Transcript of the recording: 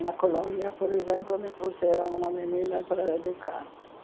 Na Colômbia, por exemplo, me trouxeram uma menina para educar.